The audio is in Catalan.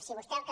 si vostè el que